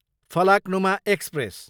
Falaknuma express